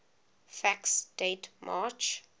facts date march